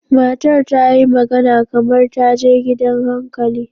Matar ta yi magana kamar ta je gidan hankali.